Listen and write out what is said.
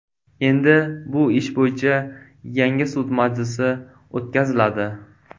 Endi bu ish bo‘yicha yangi sud majlisi o‘tkaziladi.